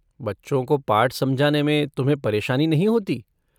बच्चों को पाठ समझाने में तुम्हे परेशानी नहीं होती?